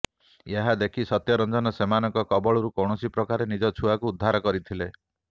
ଏହାଦେଖି ସତ୍ୟରଞ୍ଜନ ସେମାନଙ୍କ କବଳରୁ କୌଣସି ପ୍ରକାରେ ନିଜ ଛୁଆକୁ ଉଦ୍ଧାର କରିଥିଲେ